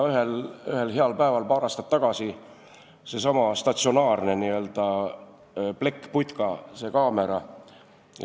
Ühel heal päeval paar aastat tagasi tekkis sinna seesama statsionaarne n-ö plekkputka, see kaamera.